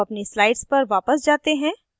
अब अपनी slides पर वापस जाते हैं